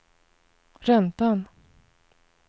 räntan